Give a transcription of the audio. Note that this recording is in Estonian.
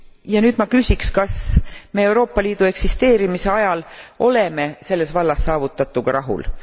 Ja nüüd ma küsiksin, kas me Euroopa Liidu eksisteerimise ajal oleme selles vallas saavutatuga rahul?